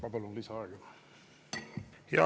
Ma palun lisaaega.